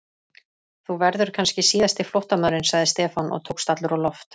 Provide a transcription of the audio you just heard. Þú verður kannski síðasti flóttamaðurinn sagði Stefán og tókst allur á loft.